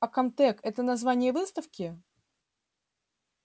а комтек это название выставки